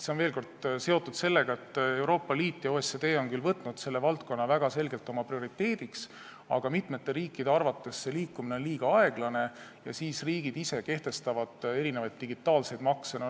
See on seotud sellega, et Euroopa Liit ja OECD on küll võtnud selle valdkonna väga selgelt oma prioriteediks, aga mitme riigi arvates on see liikumine liiga aeglane ja siis nad kehtestavad ise digitaalseid makse.